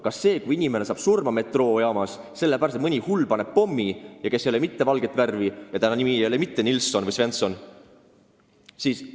Kas see, kui inimene saab metroojaamas surma, sellepärast et mõni hull, kes ei ole mitte valget värvi ja kelle nimi ei ole mitte Nilsson või Svensson, on sinna pommi pannud?